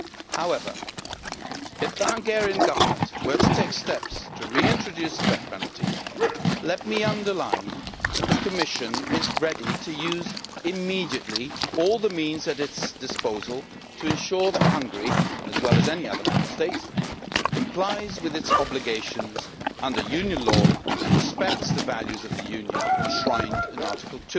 However, if the Hungarian Government were to take steps to reintroduce the death penalty, let me underline that the Commission is ready to use immediately all the means at its disposal to ensure that Hungary, as well as any other Member State, complies with its obligations under Union law and respects the values of the Union enshrined in Article